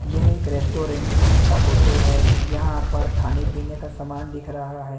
यह एक रेस्टोरेंट की फोटो है यहां पर खाने पीने का सामान दिख रहा है।